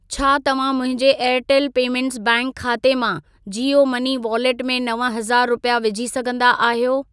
छा तव्हां मुंहिंजे एयरटेल पेमेंटस बैंक खाते मां जीओ मनी वॉलेट में नव हज़ार रुपिया विझी सघंदा आहियो?